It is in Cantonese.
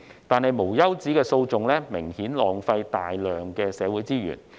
但是，無休止的訴訟明顯浪費大量社會資源。